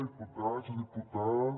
diputats diputades